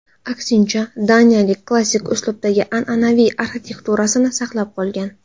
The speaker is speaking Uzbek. Aksincha, daniyaliklar klassik uslubdagi an’anaviy arxitekturasini saqlab qolgan.